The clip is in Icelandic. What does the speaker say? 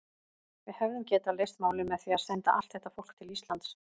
Við hefðum getað leyst málin með því að senda allt þetta fólk til Íslands.